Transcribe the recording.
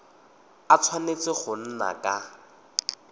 a tshwanetse go nna ka